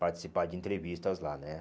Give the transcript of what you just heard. Participar de entrevistas lá, né?